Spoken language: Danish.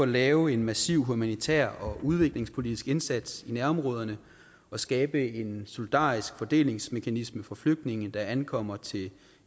lave en massiv humanitær og udviklingspolitisk indsats i nærområderne og skabe en solidarisk fordelingsmekanisme for flygtninge der ankommer til